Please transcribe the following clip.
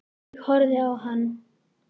Ég horfði á hann.